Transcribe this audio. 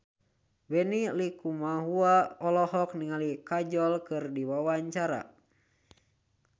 Benny Likumahua olohok ningali Kajol keur diwawancara